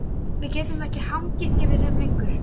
Við getum ekki hangið yfir þeim lengur.